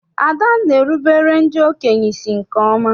Ada na-erubere ndị okenye isi nke ọma.